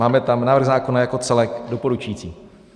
Máme tam: návrh zákona jako celek - doporučující.